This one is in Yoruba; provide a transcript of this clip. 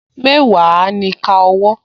Mẹ́wàá ni ìka owó